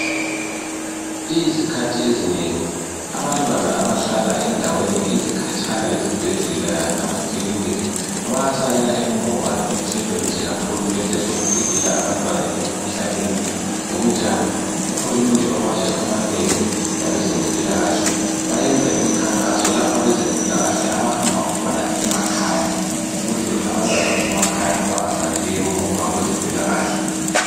Izikhathi ezinengi abantwana abahlala endaweni ezikhatshana lezibhedlela lamakilinika bayasalela emuva enhlelweni zikahulumende zokuvikela ingane emkhuhlaneni ngokunjalo ohulumende bamazwe amanengi labezempila kahle beyenza imikhankaso lapho abezempila kahle abahamba khona emakhaya ukuze abantwana basemakhaya bengasaleli emuva kwezempila kahle